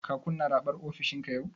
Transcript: Ka kunna raɓar ofishinka yau?